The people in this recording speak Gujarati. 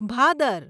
ભાદર